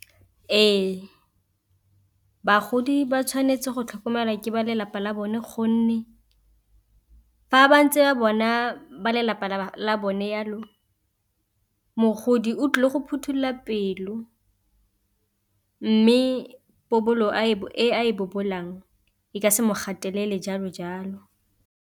Ee, bagodi ba tshwanetse go tlhokomelwa ke ba lelapa la bone gonne fa ba ntse ba bona ba lelapa la bone jalo mogodi o tlile go phothulola pelo, mme pobolo e a e bobolang e ka se mo gatelele jalo jalo.